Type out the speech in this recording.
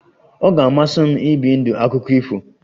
Ọ ga-amasị m ibi ndụ akụkọ ifo